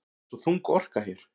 Það er svo þung orka hér.